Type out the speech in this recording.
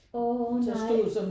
Åh nej